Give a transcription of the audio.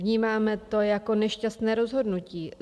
Vnímáme to jako nešťastné rozhodnutí.